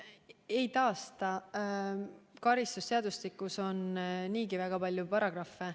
Ei taasta, karistusseadustikus on niigi väga palju paragrahve.